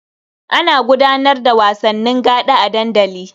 Ana gudanar da wasanni gaɗa a dandali.